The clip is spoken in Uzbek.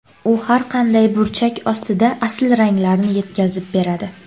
U har qanday burchak ostida asl ranglarni yetkazib beradi.